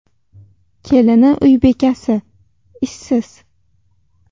Kelini uy bekasi, ishsiz.